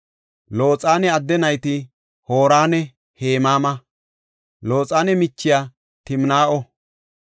Looxane adde nayti Hooranne Hemaama; Looxane michiya Timnaa7o.